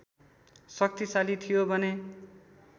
शक्तिशाली थियो भने